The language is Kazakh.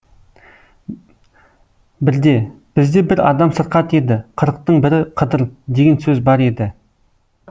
бізде бір адам сырқат еді қырықтың бірі қыдыр деген сөз бар еді